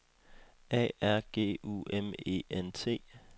A R G U M E N T